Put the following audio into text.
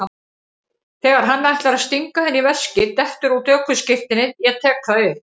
Þegar hann ætlar að stinga henni í veskið dettur út ökuskírteinið, ég tek það upp.